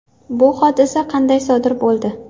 Bu hodisa qanday sodir bo‘ldi?